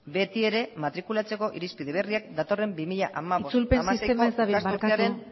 betiere matrikulatzeko irizpide berriak datorren bi mila hamabost bi mila hamasei urtean ezartzeko asmoz itzulpen sistema ez dabil barkatu